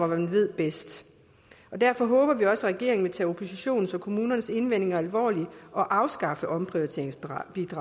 man ved bedst derfor håber vi også at regeringen vil tage oppositionens og kommunernes indvendinger alvorligt og afskaffe omprioriteringsbidraget